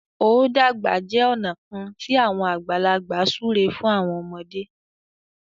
o dàgbà jẹ ọna kán ti awọn àgbàlagbà súré fún àwọn ọmọde.